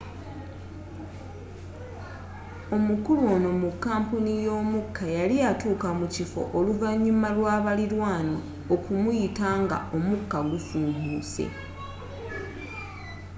omukulu onu mu kampuni y'omuka yali atuuka mukiffo oluvanyuma lwa balilanwa okumuyita nga omukka gufuumuse